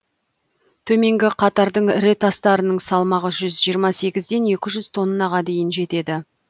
төменгі қатардың ірі тастарының салмағы жүз жиырма сегізден екі жүз тоннаға дейін жетеді